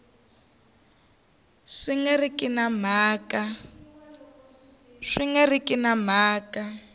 swi nga ri na mhaka